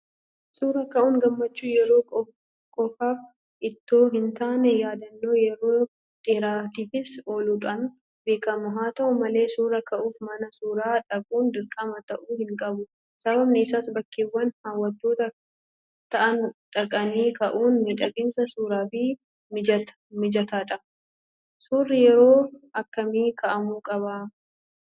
Suura ka'uun gammachuu yeroo qofaaf itoo hintaane yaadannoo yeroo dheeraatiifis ooluudhaan beekama. Haata'u malee suura ka'uuf mana suuraa dhaquun dirqama ta'uu hinqabu. Sababni isaas bakkeewwan hawwatoo ta'an dhaqanii ka'uun miidhagina suuraaf mijataadha. Suurri yeroo akkamii ka'amuu qaba?